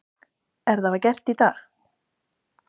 En það var gert í dag.